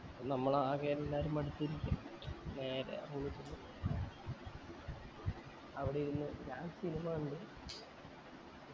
നമ്മളാകെ എല്ലാരും മടുത്ത് ഇരിക്ക നേരെ room ചെന്നു അവിടെ ഇരുന്ന് ഞാൻ cinema കണ്ടു